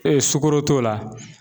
Ee sugoro t'o la